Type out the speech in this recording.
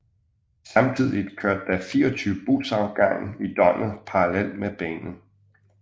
Samtidigt kørte der 24 busafgange i døgnet parallelt med banen